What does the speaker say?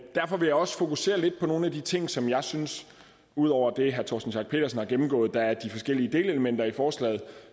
derfor vil jeg også fokusere lidt på nogle af de ting som jeg synes ud over det herre torsten schack pedersen har gennemgået er de forskellige delelementer i forslaget